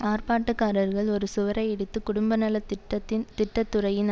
ஆர்ப்பாட்டக்காரர்கள் ஒரு சுவரை இடித்து குடும்பநலத் திட்டத்தின் திட்ட துறையின்